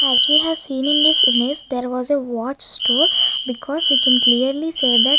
as we have seen in this image there was a watch store because we can clearly say that --